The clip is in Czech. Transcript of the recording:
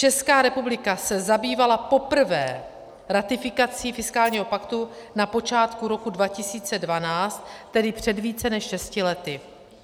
Česká republika se zabývala poprvé ratifikací fiskálního paktu na počátku roku 2012, tedy před více než šesti lety.